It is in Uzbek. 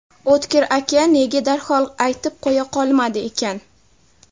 O‘tkir aka nega darhol aytib qo‘ya qolmadi ekan?